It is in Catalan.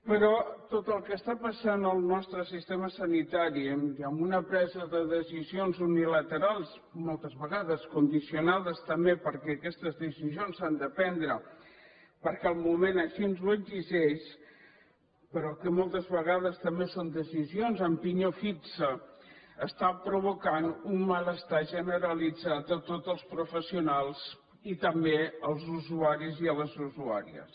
però tot el que està passant en el nostre sistema sanitari i amb una presa de decisions unilaterals moltes vegades condicionades també perquè aquestes decisions s’han de prendre perquè el moment així ho exigeix però que molts vegades també són decisions de pinyó fix està provocant un malestar generalitzat a tots els professionals i també als usuaris i a les usuàries